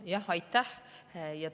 Jah, aitäh!